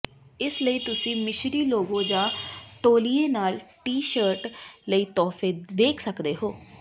ਇਸ ਲਈ ਤੁਸੀਂ ਮਿਸਰੀ ਲੋਗੋ ਜਾਂ ਤੌਲੀਏ ਨਾਲ ਟੀ ਸ਼ਰਟ ਲਈ ਤੋਹਫੇ ਵੇਖ ਸਕਦੇ ਹੋ